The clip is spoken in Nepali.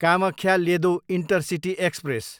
Kamakhya, Ledo intercity express